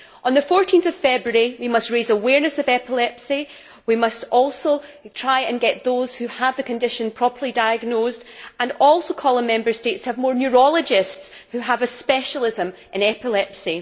On 14 February we must raise awareness of epilepsy. We must also try to get those who have the condition properly diagnosed and call on Member States to have more neurologists who have a specialism in epilepsy.